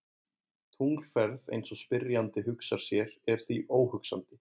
Tunglferð eins og spyrjandi hugsar sér er því óhugsandi.